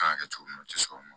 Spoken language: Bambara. Kan ka kɛ cogo min na u tɛ sɔn o ma